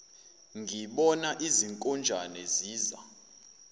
ngibona izinkonjane ziza